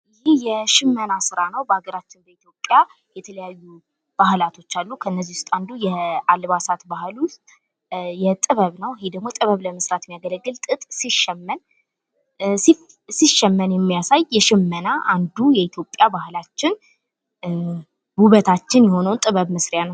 ይህ የሽመና ስራ ነው። በሀገራችን በኢትዮጵያ የተለያዩ ባህሎችን አሉ። ከነዚህ አንዱ የአልባሳት ባህል ዉስጥ የጥበብ ነው። ለምሳሌ ይህ ደግሞ ጥበብ ለመስራት ሚያገለግል ጥጥ ሲሸመን የሚያሳይ የሽመና አንዱ የኢትዮጵያ ባህላችን ዉበታችን የሆነውን ጥበብ መስሪያ ነው።